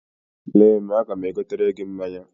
Lee m, aga m egotere gị mmanya.